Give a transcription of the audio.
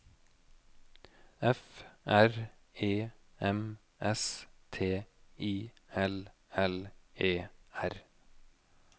F R E M S T I L L E R